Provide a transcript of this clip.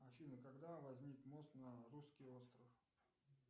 афина когда возник мост на русский остров